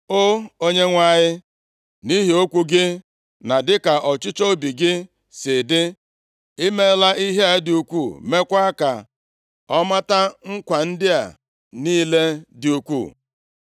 O Onyenwe anyị, nʼihi okwu gị na dịka ọchịchọ obi gị si dị, i meela ihe a dị ukwuu, meekwa ka ọ mata nkwa ndị a niile dị ukwuu.